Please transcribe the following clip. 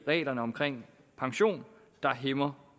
reglerne om pension der hæmmer